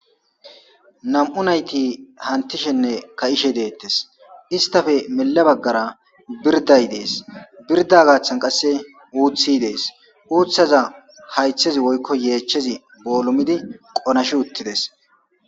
Nam'u nayti hantishenne ka'ishe deettes istafe mela baggara birday dees birda gaaththan qasse uuthi dees uuththaza haythezi woykko yeechchezi boolumidi qonashi uttides